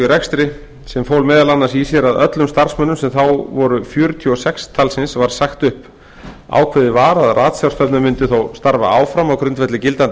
rekstri sem fól meðal annars í sér að öllum starfsmönnum sem þá voru fjörutíu og sex talsins var sagt upp ákveðið var að ratsjárstofnun mundi þó starfa áfram á grundvelli gildandi